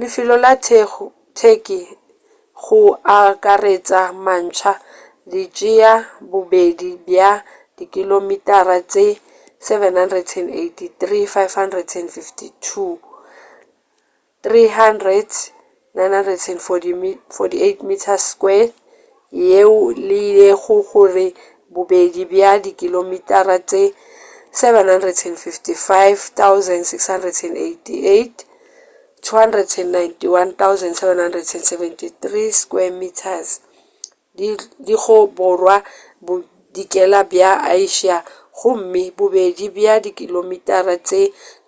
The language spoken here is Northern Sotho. lefelo la turkey go akaretša matsha di tšea bobedi bja dikilomitara tše 783,562 300,948 sq mi yeo e lego gore bobedi bja dikilomitara tše 755,688 291,773 sq mi di go borwa bodikela bja asia gomme bobedi bja dikilomitara tše